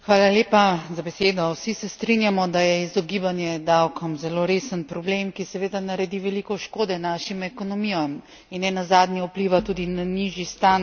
Vsi se strinjamo, da je izogibanje davkom zelo resen problem, ki seveda naredi veliko škode našim ekonomijam in nenazadnje vpliva tudi na nižji standard ljudi.